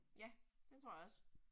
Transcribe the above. Ja, det tror jeg også